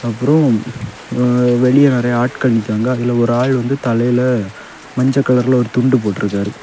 அப்புறம் வெளியே நிறைய ஆட்கள் நிக்கிறாங்க அதுல ஒரு ஆள் வந்து தலையில மஞ்சள் கலர்ல ஒரு துண்டு போட்டுருக்காரு.